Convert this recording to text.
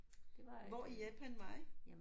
Hvor i Japan var I?